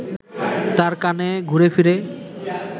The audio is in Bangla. তাঁর কানে ঘুরেফিরে